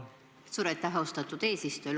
Suur aitäh, austatud eesistuja!